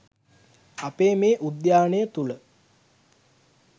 අපේ මේ උද්‍යානය තුළ